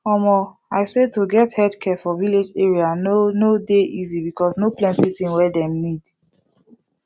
omo i say to get healthcare for village area no no dey easy because no plenti thing wey dem need